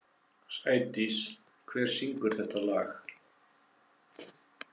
Sædís, hver syngur þetta lag?